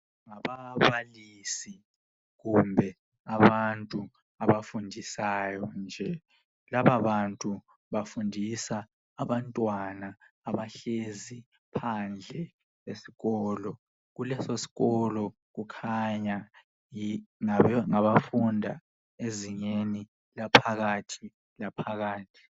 Ngababalisi kumbe abantu abafundisayo nje. Laba bantu bafundisa abantwana abahlezi phandle esikolo. Kuleso sikolo kukhanya ngabafunda ezingeni laphakathi laphakathi.